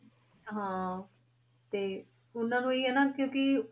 ਹਾਂ ਤੇ ਉਹਨਾਂ ਨੂੰ ਇਹੀ ਹੈ ਨਾ ਕਿਉਂਕਿ